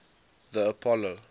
the apollo